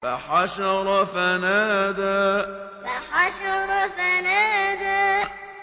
فَحَشَرَ فَنَادَىٰ فَحَشَرَ فَنَادَىٰ